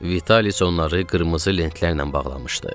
Vitalis onları qırmızı lentlərlə bağlamışdı.